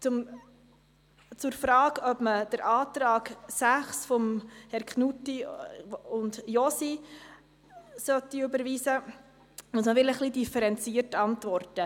Auf die Frage, ob die Planungserklärung 6 überwiesen werden soll oder nicht, muss ich etwas differenzierter antworten.